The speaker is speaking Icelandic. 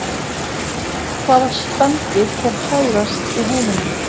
Hvaða spendýr fer hægast í heiminum?